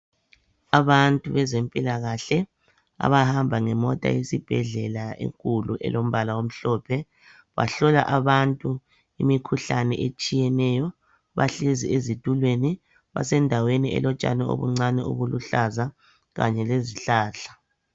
Abantu bezempilakahle abahamba ngemota yesibhedlela enkulu elombala omhlophe, bahlola abantu imikhuhlane etshiyeneyo bahlezi ezitulweni. Basendaweni elotshani obuncane obuluhlaza kanye lezihlahla.